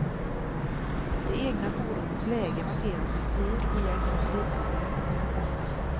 Det egna fordonets läge markeras med en pil via ett satellitsystem.